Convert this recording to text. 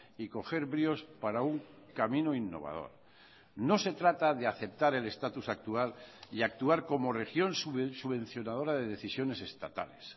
y coger bríos para un camino innovador no se trata de aceptar el estatus actual y actuar como región subvencionadora de decisiones estatales